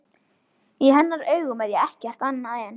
Í hennar augum er ég ekkert annað en.